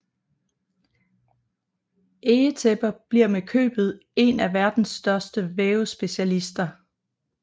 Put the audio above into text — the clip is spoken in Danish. Egetæpper bliver med købet en af verdens største vævespecialister